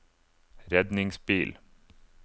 redningsbil